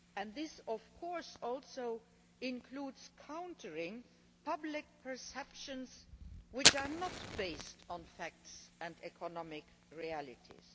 This also includes countering public perceptions which are not based on facts and economic realities.